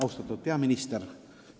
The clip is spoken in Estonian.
Austatud peaminister!